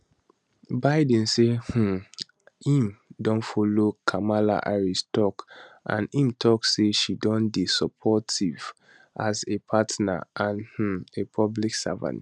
biden say um im don follow kamala harris tok and im tok say she don dey supportive as a partner and um a public servant